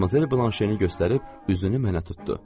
Madmazel Blanşeni göstərib üzünü mənə tutdu.